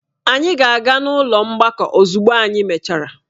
Anyị ga-aga n'ụlọ mgbakọ ozugbo anyị mechara.